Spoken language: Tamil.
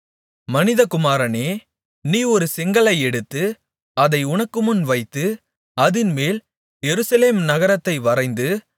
மனிதகுமாரனே நீ ஒரு செங்கல்லை எடுத்து அதை உனக்குமுன் வைத்து அதின்மேல் எருசலேம் நகரத்தை வரைந்து